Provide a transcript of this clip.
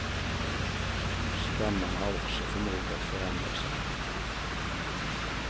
Stammarna har också förmåga att förändra sig.